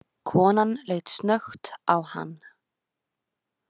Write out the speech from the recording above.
Konan leit snöggt á hann.